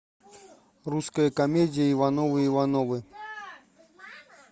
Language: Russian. русская комедия ивановы ивановы